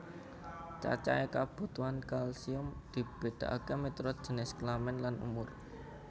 Cacahé kabutuhan kalsium dibedakaké miturut jinis kelamin lan umur